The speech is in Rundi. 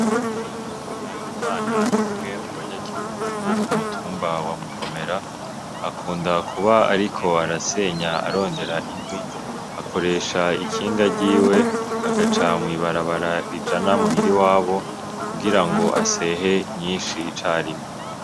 NAHIMANA ni umwe mu banyagihugu bo kumutumba wa Mugomera akunda kuba ariko arasenya arondera inkwi akoresha ikinga ryiwe agaca mw' ibarabara rijana muhira iwabo kugira ngo asehe nyinshi carimwe.